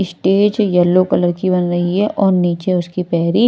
stage yellow colour की बन रही है और नीचे उसकी पैरी--